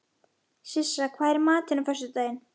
Sissa, hvað er í matinn á föstudaginn?